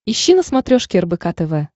ищи на смотрешке рбк тв